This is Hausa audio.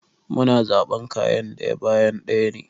Mu na zaɓan kayan ɗaya bayan ɗaya ne.